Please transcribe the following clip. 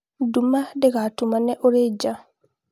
nduma ndĩgatumane ũrĩ ja